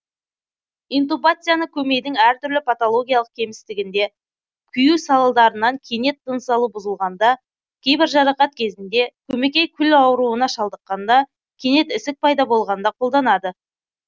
интубацияны көмейдің әр түрлі патологиялық кемістігінде күю салдарынан кенет тыныс алу бұзылғанда кейбір жарақат кезінде көмекей күл ауруына шалдыққанда кенет ісік пайда болғанда қолданады